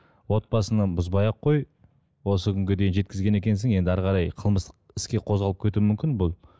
отбасын бұзбай ақ қой осы күнге дейін жеткізген екенсің енді әрі қарай қылмыстық іске қозғалып кетуі мүмкін бұл